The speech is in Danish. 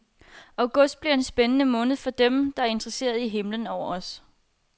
August bliver en spændende måned for dem, der er interesseret i himlen over os.